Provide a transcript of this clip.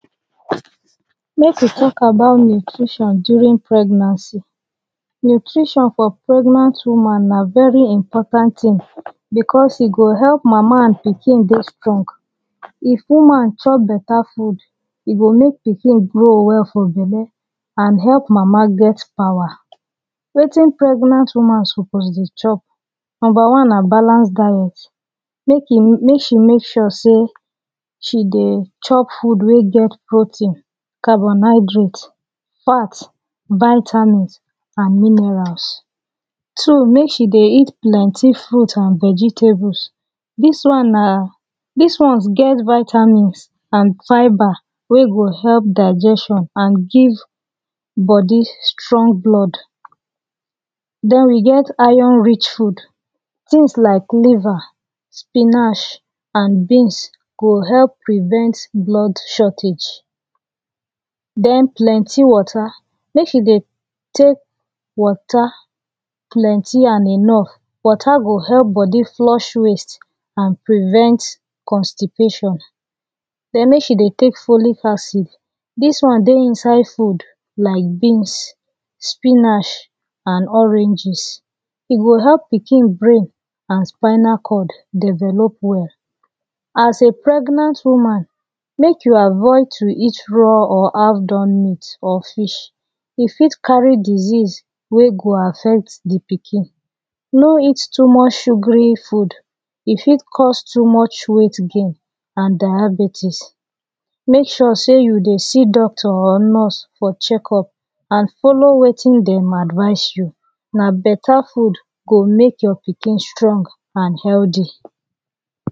make we talk about nutrition during pregnancy nutrition for pregnant woman nah very important thing because e go help mama and pikin deh strong if woman chop better food e go make pikin grow well for belle and help mama get power wetin pregnant woman suppose deh chop number one nah balance diet make e make she make sure say she deh chop food weh get protein carbohydrate fat vitamins and minerals two make she deh eat plenty fruits and vegetables this one nah this ones get vitamins and vibre weh go help diagestion and give body stong blood then we get iron rich food things like liver spinach and beans go help prevent blood shortage then plenty water make she deh take water plenty and enough water go help body flush waste and prevent constipation then make she deh take folid acid this one deh inside food like beans spinach and oranges e go help pikin brain and spinal cord develop well as a pregnant woman make you avoid to eat raw or half done meat or fish go fit carry disease weh go affect the pikin no eat too much sugary food e fit cause too much weight gain and diabetes make sure say you deh see doctor or nurse for checkup and follow wetin them advise you nah better food go make your pikin strong and healthy